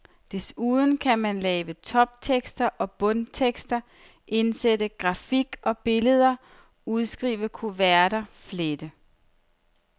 Desuden kan man lave toptekster og bundtekster, indsætte grafik og billeder, udskrive kuverter, flette.